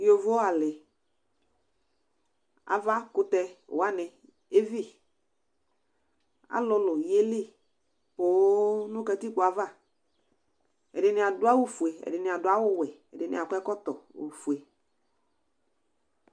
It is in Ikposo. Yovo alɩ, avakʋtɛ wanɩ evi; alʋlʋ yeli poo nʋ kǝtikpo ava: ɛdɩnɩ adʋ awʋ fue, ɛdɩnɩ adʋ awʋ wɛ, ɛdɩnɩ akɔ ɛkɔtɔ ofue